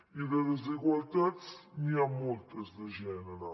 i de desigualtats n’hi ha moltes de gènere